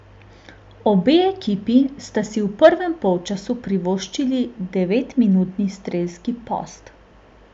Obe ekipi sta si v prvem polčasu privoščili devetminutni strelski post.